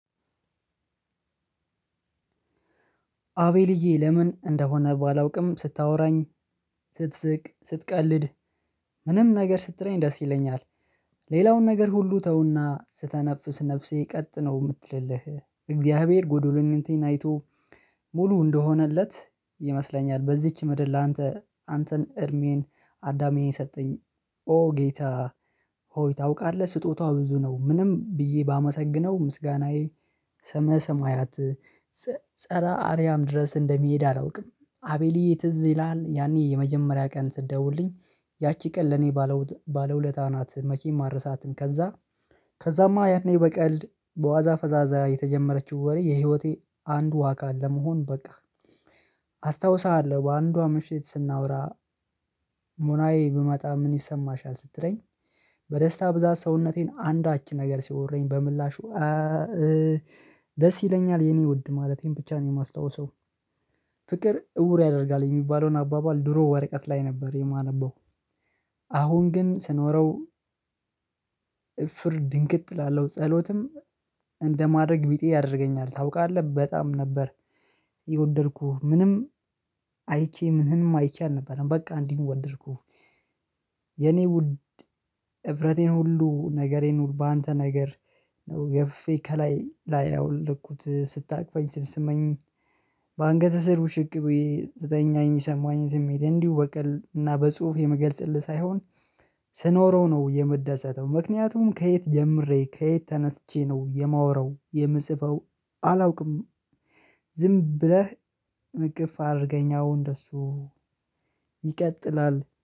አቤልዬ ለምን እንደሆነ ባላውቅም ስታወራኝ ስትስቅ ስትቀልድ ምንም ነገር ስትለኝ ደስ ይለኛል። ሌላውን ነገር ሁሉ ተውና ስተነፍስ ነፍሴ ቀጥ ነው እምትልልህ እግዚአብሔር ጎዶሎነቴን አይቶ ሙሉ እንደሆነለት ይመስለኛል። በዚች ምድር ላንተ አንተን እድሜን አዳሜን ሰጠኝ ኦ ጌታ ሆይ ታውቃለህ ስጦታዋ ብዙ ነው። ምንም ብዬ ባመሰግነው ምስጋናዬ ሰመ ሰማያት ፀረ አርያም ድረስ እንደሚሄድ አላውቅም። አቤልዬ ትዝ ይላሀል? ያኔ የመጀመሪያ ቀን ስደውልኝ ያቺ ቀን ለኔ ባለ ባለ ውለታ ናት መቼም አረሳትም። ከዛ ከዛማ ያኔ በቀልድ በዋዛ ፈዛዛ የተጀመረችው ወሬ የህይወቴ አንዱ አካል ለመሆን በቃ። አስታውሳሀለሁ በአንዷ ምሽት ስናወራ ሙናዬ ብመጣ ምን ይሰማሻል ስትለኝ? በደስታ ብዛት ሰውነቴን አንዳች ነገር ሲወርኝ በምላሹ ደስ ይለኛል የኔ ውድ ማለቴን ብቻ ነው የማስታውሰው። ፍቅር እውር ያደርጋል የሚባለውን አባባል ድሮ ወረቀት ላይ ነበር የማነበው። አሁን ግን ስኖረው እፍር ድንግጥ እላለሁ። ጸሎትም እንደማድረግ ቢጤ ያደርገኛል ታውቃለህ በጣም ነበር። የወደድኩህ ምንም አይቼ ምንህንም አይቼ አልነበረም በቃ እንዲህ ወደድኩህ። የኔ ውድ ህፍረቴን ሁሉ ነገሬን ነው በአንተ ነገር ነው ገፍፌ ከላይ ላያ ያወለኩት ስታቅፈኝ ስትስመኝ። በአንገት ስር ውሽቅ ብዬ ስተኛ የሚሰማኝን ስሜት እንዲሁ በቀልድ እና በጽሁፍ የምገልጽልህ ሳይሆን ስኖረው ነው የምደሰተው። ምክንያቱም ከየት ጀምሬ ከየት ተነስቼ ነው የማወራው የምጽፈው አላውቅም። ዝም ብለህ እቅፍ አድርገኝ አዎ እንደሱ ይቀጥላል